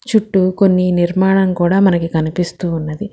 చుట్టూ కొన్ని నిర్మాణం కూడా మనకి కనిపిస్తూ ఉన్నది.